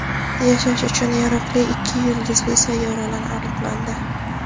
Yashash uchun yaroqli ikki yulduzli sayyoralar aniqlandi.